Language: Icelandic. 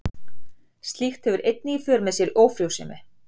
Slíkt hefur einnig í för með sér ófrjósemi.